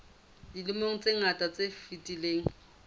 dilemong tse ngata tse fetileng